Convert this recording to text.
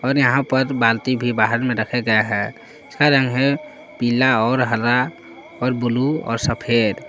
और यहां पर बाल्टी भी बाहर में रखा गया है उसका रंग है पीला और हरा और ब्लू और सफेद ।